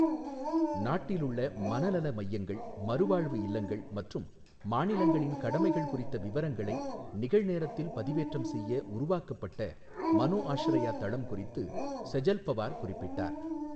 நாட்டிலுள்ள மனநல மையங்கள், மறுவாழ்வு இல்லங்கள் மற்றும் மாநிலங்களின் கடமைகள் குறித்த விவரங்களை நிகழ்நேரத்தில் பதிவேற்றம் செய்ய உருவாக்கப்பட்ட மனோஆஷ்ரயா தளம் குறித்து செஜல் பவார் குறிப்பிட்டார்.